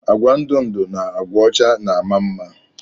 Agwa ndụ ndụ na agwa ọcha na ama mma.